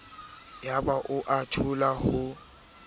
yaba o a thola ho